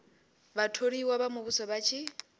vhatholiwa vha muvhuso vha tshi